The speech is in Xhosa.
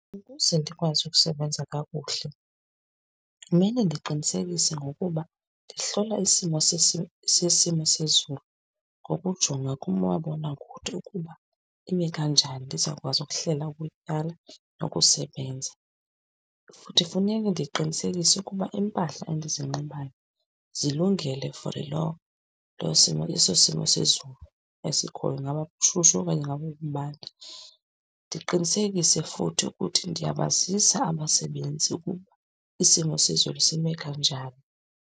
Ukuze ndikwazi ukusebenza kakuhle kumele ndiqinisekise ngokuba ndihlola isimo sesimo sezulu ngokujonga kumabonakude ukuba ime kanjani ndizokwazi ukuhlela ukutyala nokusebenza. Futhi funeke ndiqinisekise ukuba iimpahla endizinxibayo zilungele for loo, loo simo, eso simo sezulu esikhoyo, ingaba kushushu okanye ingaba ukubanda. Ndiqinisekise futhi ukuthi ndiyabazisa abasebenzi ukuba isimo sezulu sime kanjani.